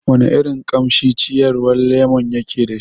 Wana irin kamshi ciyawar lemon yake dashi?